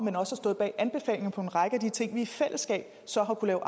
en række af de ting vi i fællesskab så har kunnet